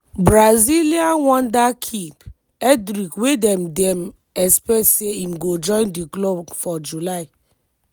brazilian wonderkid endrick wey dem dem expect say im go join di club for july.